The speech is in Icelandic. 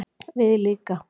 Við líka